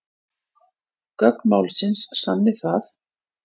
Gögn málsins sanni það